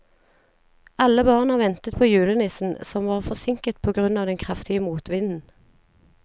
Alle barna ventet på julenissen, som var forsinket på grunn av den kraftige motvinden.